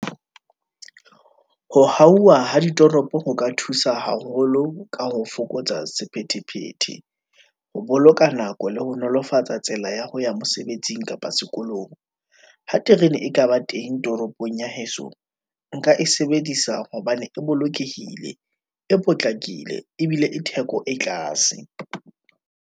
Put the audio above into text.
Ho hauwa ha ditoropo ho ka thusa haholo, ka ho fokotsa sephethephethe, ho boloka nako le ho nolofatsa tsela ya ho ya mosebetsing kapa sekolong. Ha terene e ka ba teng toropong ya heso, nka e sebedisa hobane e bolokehile, e potlakile ebile e theko e tlase.